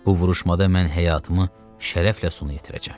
Bu vuruşmada mən həyatımı şərəflə sona yetirəcəm.